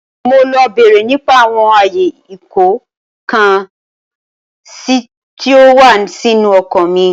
Mo ń lọ bere nípa àwọn ayé ìkó-ǹkan-sí tí ó wà nínú ọkọ̀ mi.